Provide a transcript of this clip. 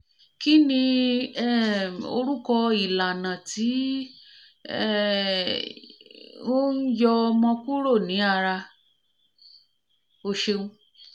kih ni um orúkọ ìlànà tó um n um yọ omi kúrò ní ara? o ṣeun